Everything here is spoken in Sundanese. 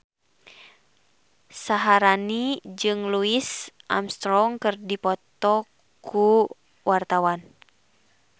Syaharani jeung Louis Armstrong keur dipoto ku wartawan